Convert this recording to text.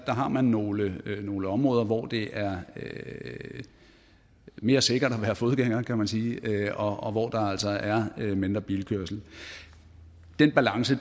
har nogle nogle områder hvor det er mere sikkert at være fodgænger kan man sige og hvor der altså er mindre bilkørsel den balance